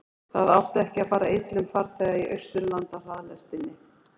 það átti ekki að fara illa um farþega í austurlandahraðlestinni